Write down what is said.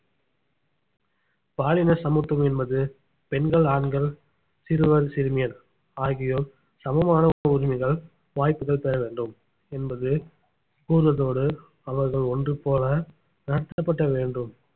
பாலின சமத்துவம் என்பது பெண்கள் ஆண்கள் சிறுவன் சிறுமியர் ஆகியோர் சமமான உரிமைகள் வாய்ப்புகள் பெற வேண்டும் என்பது கூறுவதோடு அவர்கள் ஒன்று போல நடத்தப்பட வேண்டும்